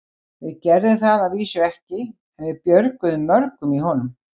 Við gerðum það að vísu ekki, en við björguðum mörgum í honum.